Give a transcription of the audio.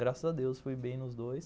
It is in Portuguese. Graças a Deus fui bem nos dois.